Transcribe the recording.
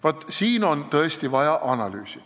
Vaat selleks on tõesti vaja analüüsi.